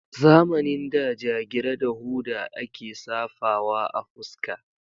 Zamanin da jagira da hoda a ke safawa a fuska.